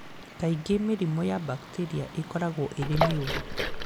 Kaingĩ mĩrimũ ya bakteria ĩkoragwo ĩrĩ mĩũru